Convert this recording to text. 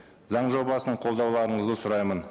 заң жобасын қолдауларыңызды сұраймын